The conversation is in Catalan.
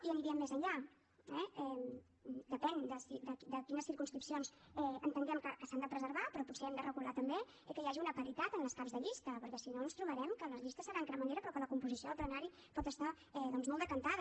i aniríem més enllà eh depèn de quines circumscripcions entenguem que s’han de preservar però potser hem de regular també que hi hagi una paritat en les caps de llista perquè si no ens trobarem que les llistes seran cremallera però que la composició del plenari pot estar doncs molt decantada